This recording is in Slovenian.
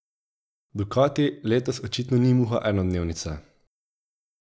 Ducati letos očitno ni muha enodnevnica.